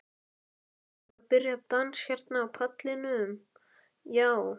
Það er að byrja dans hérna á pallinum, já.